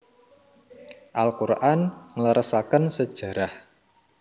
Al Quran ngleresaken sejarah